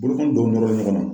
Bolokɔni dɔw nɔrɔlen ɲɔgɔn na.